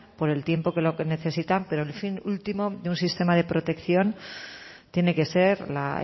por el tiempo que lo que necesitan pero el fin último de un sistema de protección tiene que ser la